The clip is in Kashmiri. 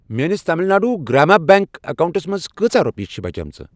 میٲنِس تامِل ناڈوٗ گرٛاما بیٚنٛک اکاونٹَس منٛز کۭژاہ رۄپیہِ چھِ بچیمٕژ؟